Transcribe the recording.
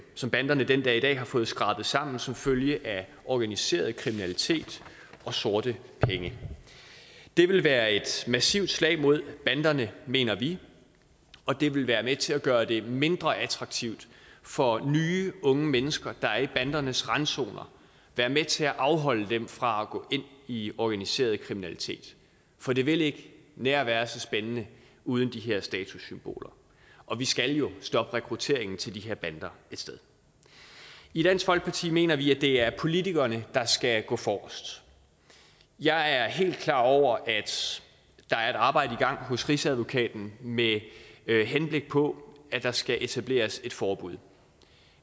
som banderne den dag i dag har fået skrabet sammen som følge af organiseret kriminalitet og sorte penge det vil være et massivt slag mod banderne mener vi og det vil være med til at gøre dem mindre attraktive for nye unge mennesker der er i bandernes randzoner være med til at afholde dem fra at gå ind i organiseret kriminalitet for det vil ikke være nær så spændende uden de her statussymboler og vi skal jo stoppe rekrutteringen til de her bander et sted i dansk folkeparti mener vi at det er politikerne der skal gå forrest jeg er helt klar over at der er et arbejde i gang hos rigsadvokaten med henblik på at der skal etableres et forbud